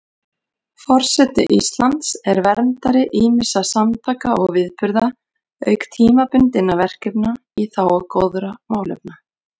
Forseti Íslands er verndari ýmissa samtaka og viðburða auk tímabundinna verkefna í þágu góðra málefna.